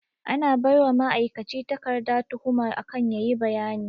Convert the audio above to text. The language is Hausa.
An baiwa ma'aikaci takarda tuhuma akan yayi bayani